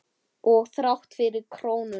Og þrátt fyrir krónuna?